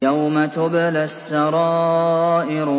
يَوْمَ تُبْلَى السَّرَائِرُ